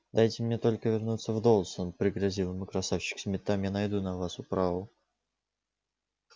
дайте мне только вернуться в доусон пригрозил ему красавчик смит там я найду на вас управу